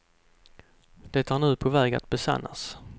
Det är nu på väg att besannas.